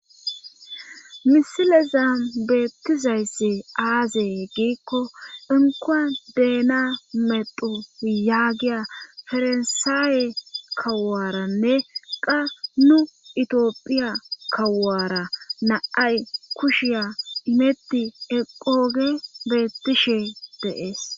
misilezam beettizayssi aazee giikko enkoa deena medo yaagiya farsaawe kawaranne qa nu itioophiya kawaara naay kushiya imetti eqooge beettishe deees